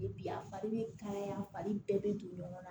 Bi a fari bɛ kalaya a fari bɛɛ bɛ don ɲɔgɔn na